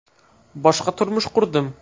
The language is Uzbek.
Boshqa turmush qurdim.